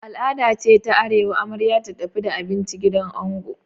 Al'ada ce a arewa amarya ta tafi da kayan abinci gidan ango.